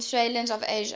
peninsulas of asia